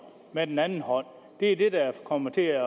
med den anden hånd det er det der kommer til at